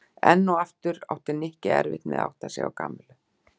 Enn og aftur átti Nikki erfitt með að átta sig á Kamillu.